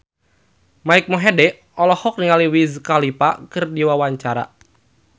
Mike Mohede olohok ningali Wiz Khalifa keur diwawancara